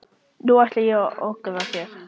Nú ætla ég að ögra þér.